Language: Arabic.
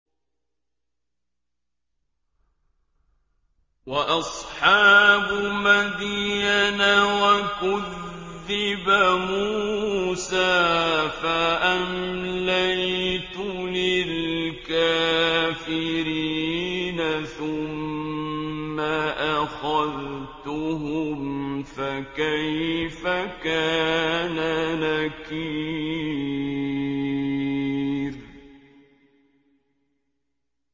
وَأَصْحَابُ مَدْيَنَ ۖ وَكُذِّبَ مُوسَىٰ فَأَمْلَيْتُ لِلْكَافِرِينَ ثُمَّ أَخَذْتُهُمْ ۖ فَكَيْفَ كَانَ نَكِيرِ